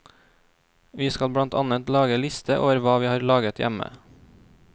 Vi skal blant annet lage liste over hva vi har laget hjemme.